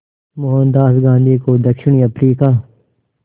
मोहनदास गांधी को दक्षिण अफ्रीका